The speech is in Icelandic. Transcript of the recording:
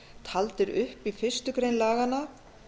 taldir upp í fyrstu grein laganna